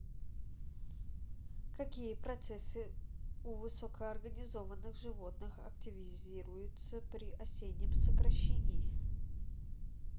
какие процессы у высокоорганизованных животных активизируются при осеннем сокращении